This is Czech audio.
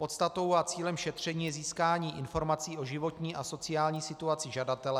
Podstatou a cílem šetření je získání informací o životní a sociální situaci žadatele.